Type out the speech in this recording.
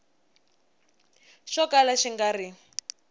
xo kala xi nga ri